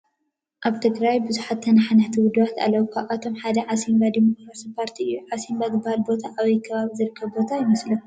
ኣብ ትግራይ ብዙሓት ተነሓናሕቲ ውድባት ኣለዉ፡፡ ካብዚኣቶም ሓደ ዓሲምባ ዲሞክራሲያዊ ፓርቲ እዩ፡፡ ዓሲምባ ዝበሃል ቦታ ኣበይ ከባቢ ዝርከብ ቦታ ይመስለኩም?